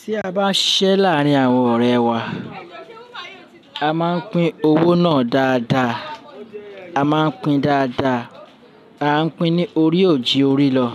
Tí a bá siṣẹ́ láárín àwọn ọ̀rẹ́ wá, a máa ń pín owó náà dáadáa. A máa ń pín dáadáa, a ń pín ní orí òjì orí lọ,